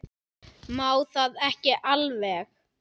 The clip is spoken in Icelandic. Má það ekki alveg?